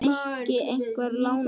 Kyrr kjör, sagði ég.